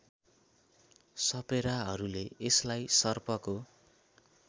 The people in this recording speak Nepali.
सपेराहरूले यसलाई सर्पको